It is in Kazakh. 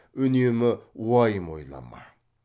үнемі уайым ойлама